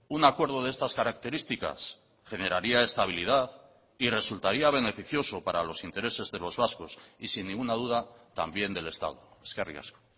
un acuerdo de estas características generaría estabilidad y resultaría beneficioso para los intereses de los vascos y sin ninguna duda también del estado eskerrik asko